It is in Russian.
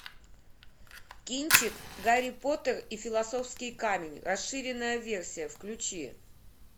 кинчик гарри поттер и философский камень расширенная версия включи